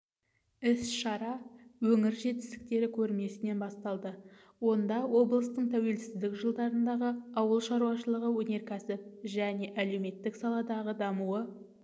іс-шара өңір жетістіктері көрмесінен басталды онда облыстың тәуелсіздік жылдарындағы ауыл шаруашылығы өнеркәсіп және әлеуметтік саладағы дамуы